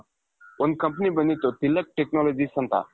ಒಂದು company ಬಂದಿತ್ತು Tilak technologies ಅಂತ .